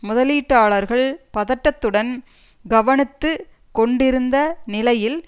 முதலீட்டாளர்கள் பதட்டத்துடன் கவனத்துக்கொண்டிருந்த நிலையில்